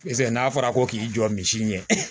Pese n'a fɔra ko k'i jɔ misi ɲɛ